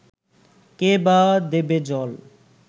কে-বা দেবে জল